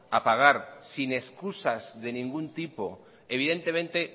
a pagar sin excusas de ningún tipo evidentemente